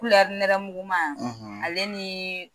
nɛrɛmuguman ale ni